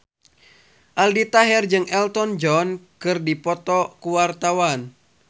Aldi Taher jeung Elton John keur dipoto ku wartawan